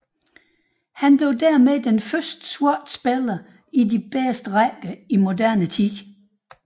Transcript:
Han blev dermed den første sorte spiller i de bedste rækker i moderne tid